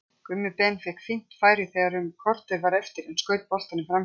Gummi Ben fékk fínt færi þegar um korter var eftir en skaut boltanum framhjá.